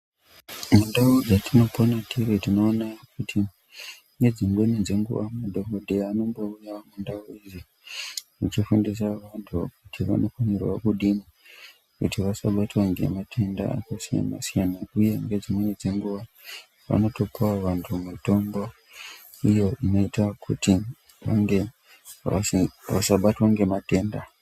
Mundau dzatinopona tiri tinoona kuti nedzimweni dzenguva madhokodheya anombouya mundau idzi achifundisa vantu kuti vanofanirwa kudini kuti vasabatwa ngematenda akasiyana siyana uye ngedzimweni dzenguva anotopawo vantu mutombo unoita kuti unge vasabatwa ngematenda.